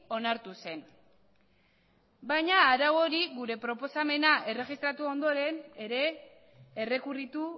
onartu zen baina arau hori gure proposamena erregistratu ondoren ere errekurritu